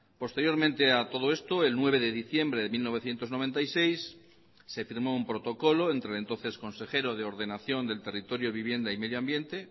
posteriormente a todo esto el nueve de diciembre de mil novecientos noventa y seis se firmó un protocolo entre el entonces consejero de ordenación del territorio vivienda y medioambiente